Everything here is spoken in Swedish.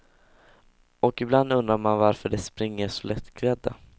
Och ibland undrar man varför de springer så lättklädda.